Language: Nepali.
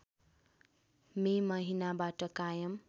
मे महिनाबाट कायम